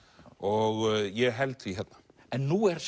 og ég held því hérna en nú er